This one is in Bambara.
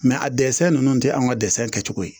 a dɛsɛ ninnu tɛ anw ka dɛsɛ kɛcogo ye